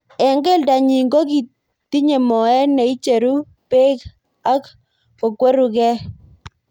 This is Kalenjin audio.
Eng keldo nyi kotinye moet neicheru bek ak kokwerukei.